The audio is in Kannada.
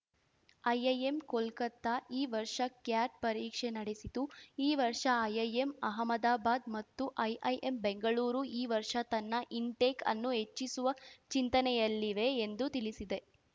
ಐಐಎಂ ಕೋಲ್ಕತ್ತಾ ಈ ವರ್ಷ ಕ್ಯಾಟ್‌ ಪರೀಕ್ಷೆ ನಡೆಸಿತ್ತು ಈ ವರ್ಷ ಐಐಎಂ ಅಹಮದಾಬಾದ್‌ ಮತ್ತು ಐಐಎಂ ಬೆಂಗಳೂರು ಈ ವರ್ಷ ತನ್ನ ಇನ್‌ಟೆಕ್‌ ಅನ್ನು ಹೆಚ್ಚಿಸುವ ಚಿಂತನೆಯಲ್ಲಿವೆ ಎಂದು ತಿಳಿಸಿದೆ